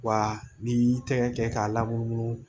Wa n'i y'i tɛgɛ kɛ k'a lamunumunu